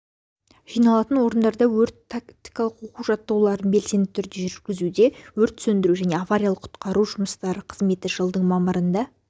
жиналатын орындарда өрт-тактикалық оқу-жаттығуларын белсенді түрде жүргізуде өрт сөндіру және авариялық-құтқару жұмыстары қызметі жылдың мамырында